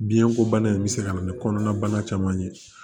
Biɲɛ ko bana in bɛ se ka na ni kɔnɔnabana caman ye